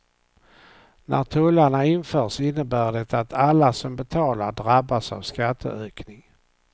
När tullarna införs innebär det att alla som betalar drabbas av skatteökning.